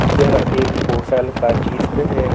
यह एक होटल का चित्र है।